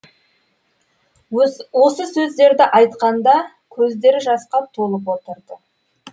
осы сөздерді айтқанда көздері жасқа толып отырды